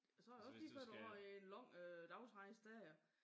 Og så det jo ikke lige før du har en lag øh dagsrejse dér